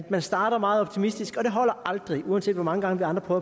man starter meget optimistisk men det holder aldrig uanset hvor mange gange vi andre